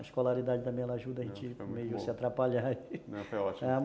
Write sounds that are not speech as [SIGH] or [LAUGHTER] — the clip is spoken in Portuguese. A escolaridade também, ela ajuda a gente meio a se atrapalhar [LAUGHS] não, foi ótimo